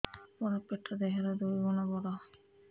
ମୋର ପେଟ ଦେହ ର ଦୁଇ ଗୁଣ ବଡ